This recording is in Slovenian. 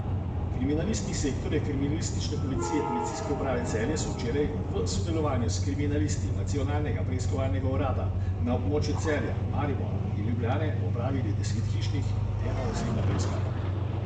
Kriminalisti Sektorja kriminalistične policije Policijske uprave Celje so včeraj, v sodelovanju s kriminalisti Nacionalnega preiskovalnega urada, na območju Celja, Maribora in Ljubljane, opravili deset hišnih in eno osebno preiskavo.